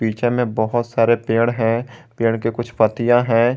पीछे मे बहोत सारे पेड़ है पेड़ के कुछ पत्तियां है।